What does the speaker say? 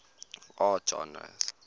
art genres